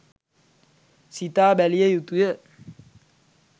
සිතා බැලිය යුතුය.